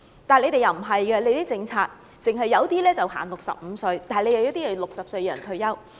但是，政府的政策不是這樣，有些職位限65歲退休，有些職位限60歲退休。